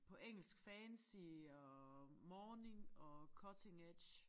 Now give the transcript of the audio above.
På engelsk fancy og morning og cutting edge